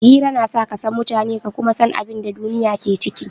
Hira na sa ka san mutane ka kuma san abin da duniya ke ciki.